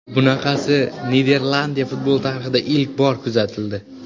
Bunaqasi Niderlandiya futboli tarixida ilk bor kuzatildi.